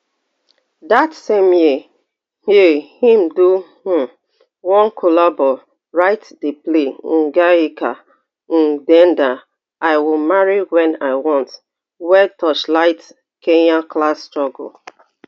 dat same year year im do um one collabo write di play ndeenda i will marry when i want wey torchlight kenya class struggle